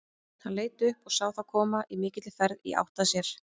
Hann leit upp og sá þá koma á mikilli ferð í átt að sér.